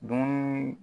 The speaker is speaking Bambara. Dun